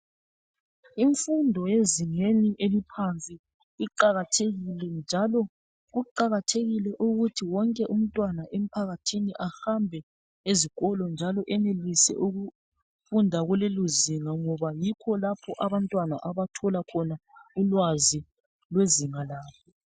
Imfundo yezingeni eliphansi iqakathekile njalo kuqakathekile ukuthi wonke umntwana emphakathini ahambe ezikolo njalo ayenelise ukufunda kulelozinga ngoba yikho lapho abantwana abathola khona ulwazi lwezinga labo